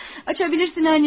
Açasan, anacan.